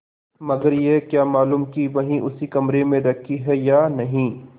मगर यह क्या मालूम कि वही उसी कमरे में रखी है या नहीं